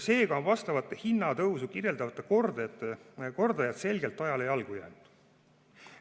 Seega on vastavat hinnatõusu kirjeldavad kordajad selgelt ajale jalgu jäänud.